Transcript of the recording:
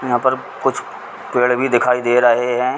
यहाँ पर कुछ पेड़ भी दिखाई दे रहे है।